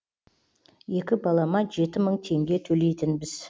екі балама жеті мың теңге төлейтінбіз